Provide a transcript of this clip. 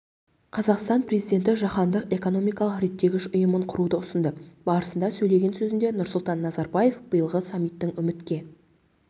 қазақстан президенті жаһандық экономикалық реттегіш ұйымын құруды ұсынды барысында сөйлеген сөзінде нұрсұлтан назарбаев биылғы саммиттің үмітке